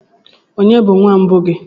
Ònye bụ nwa mbụ gị?